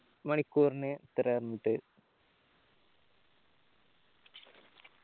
മണിക്കൂറിന് എത്രയാ എന്നിട്ട്